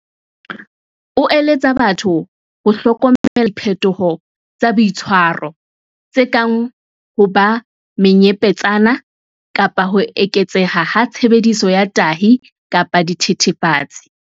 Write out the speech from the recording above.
O eletsa batho ho hlokomela diphetoho tsa boitshwaro, tse kang ho ba menyepetsana kapa ho eketseha ha tshebediso ya tahi kapa dithethefatsi.